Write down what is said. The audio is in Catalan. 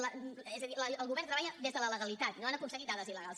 és a dir el govern treballa des de la legalitat no han aconseguit dades il·legals